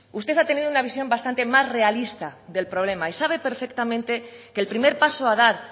usted ha tenido una visión bastante más realista del problema y sabe perfectamente que el primer paso a dar